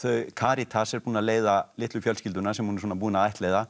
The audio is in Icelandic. Karítas er búin að leiða litlu fjölskylduna sem hún er svona búin að ættleiða